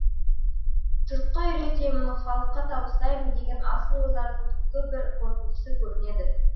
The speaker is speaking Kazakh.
жұртқа үйретемін халыққа табыстаймын деген асыл ойлардың түпкі бір қорытындысы көрінеді